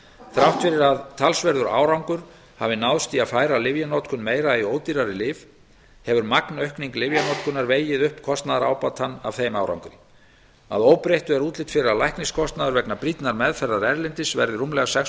þrátt fyrir að ákveðin árangur hafi náðst í að færa lyfjanotkun meira í ódýrari lyf hefur magnaukning lyfjanotkunar vegið upp kostnaðarábatann af þeim árangri að óbreyttu er útlit fyrir að lækniskostnaður vegna brýnnar meðferðar erlendis verði rúmlega sex